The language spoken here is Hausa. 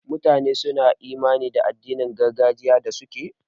Mutane suna imani da addinin gargajiya da suke.